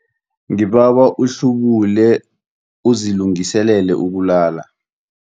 Ngibawa uhlubule uzilungiselele ukulala.